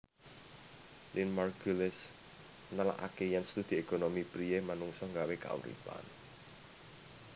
Lynn Margulis nelakaké yèn studi ékonomi priyé manungsa nggawé kauripan